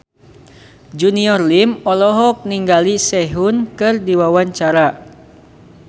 Junior Liem olohok ningali Sehun keur diwawancara